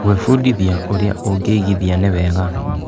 Gwĩbundithia ũrĩa ũngĩigithia nĩ wega.